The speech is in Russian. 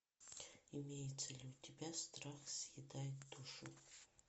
имеется ли у тебя страх съедает душу